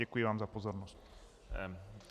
Děkuji vám za pozornost.